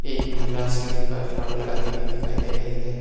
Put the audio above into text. एक महिला सीढ़ी पर झाड़ू लगाती हुई दिखाई दे रही है।